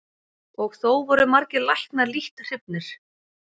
Og þó voru margir læknar lítt hrifnir.